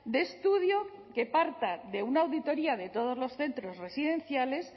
de estudio que parta de una auditoria de todos los centros residenciales